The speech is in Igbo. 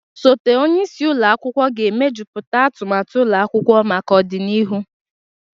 Osote onye isi ụlọ akwụkwọ ga-emejuputa atumatu ụlọ akwụkwọ maka ọdịnihu.